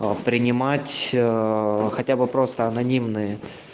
а принимать ээ хотя бы просто анонимные